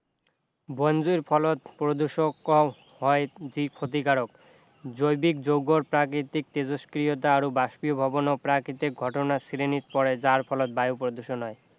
বন জুইৰ ফলত প্ৰদূষক যি ক্ষতিকাৰক জৈৱিক যৌগৰ প্ৰাকৃতিক তেজস্ক্ৰিয়তা আৰু বস্পিভৱনো প্ৰাকৃতিক ঘটনাৰ শ্ৰেণীত পৰে যাৰ ফলত বায়ু প্ৰদূষণ হয়